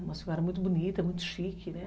Uma senhora muito bonita, muito chique, né?